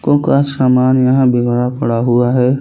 काे का सामान यहाँ बिगड़ा पड़ा हुआ है।